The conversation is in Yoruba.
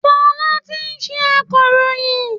Fọlá kìí ṣe akọ̀ròyìn